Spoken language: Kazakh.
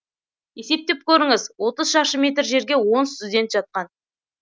есептеп көріңіз отыз шаршы метр жерге он студент жатқан